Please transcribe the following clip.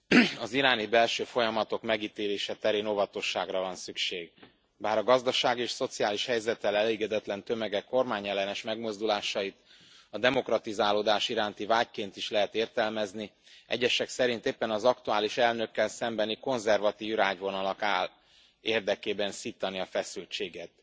Elnök Asszony, az iráni belső folyamatok megítélése terén óvatosságra van szükség. Bár a gazdasági és szociális helyzettel elégedetlen tömegek kormányellenes megmozdulásait a demokratizálódás iránti vágyként is lehet értelmezni, egyesek szerint éppen az aktuális elnökkel szembeni konzervatív irányvonalnak áll érdekében szítani a feszültséget.